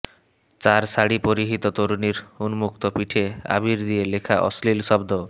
চার শাড়ি পরিহিত তরুণীর উন্মুক্ত পিঠে আবির দিয়ে লেখা অশ্লীল শব্দ